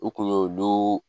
U kun y'olu